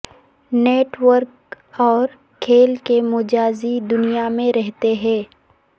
net work اور کھیل کے مجازی دنیا میں رہتے ہیں